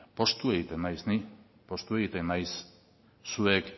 poztu egiten naiz ni poztu egiten naiz zuek